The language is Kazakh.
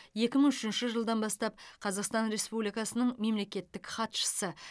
екі мың үшінші жылдан бастап қазақстан республикасының мемлекеттік хатшысы